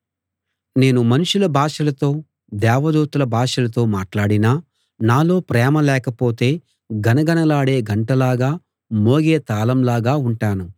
నేను మనుషుల భాషలతో దేవదూతల భాషలతో మాట్లాడినా నాలో ప్రేమ లేకపోతే గణగణలాడే గంటలాగా మోగే తాళంలాగా ఉంటాను